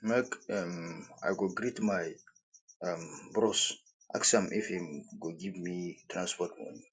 make um i go greet my um bros ask am if im go give me transport moni